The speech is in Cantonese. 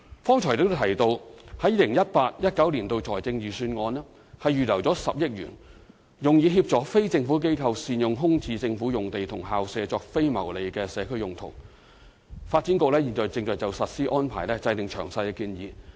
剛才亦提到在 2018-2019 財政預算案預留10億元，用以協助非政府機構善用空置政府用地和校舍作非牟利社區用途，發展局現正就實施安排制訂詳細建議。